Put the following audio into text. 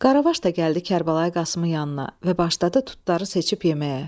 Qaravaş da gəldi Kərbəlayi Qasımın yanına və başladı tutları seçib yeməyə.